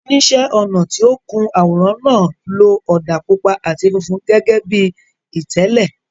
Oníṣẹ́ ọnà tí ó kun àwòrán náà lo ọ̀dà pupa àti funfun gẹ́gẹ́ bí ìtẹ́lẹ̀.